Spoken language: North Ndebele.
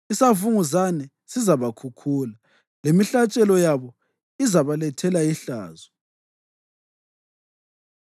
Isavunguzane sizabakhukhula, lemihlatshelo yabo izabalethela ihlazo.”